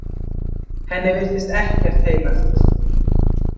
Henni virtist ekkert heilagt.